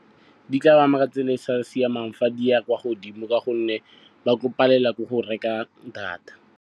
Di tla ba ama ka tsela e e sa siamang fa di ya kwa godimo ka gonne ba tlo palelwa ke go reka data.